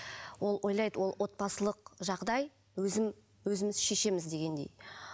ол ойлайды ол отбасылық жағдай өзім өзіміз шешеміз дегендей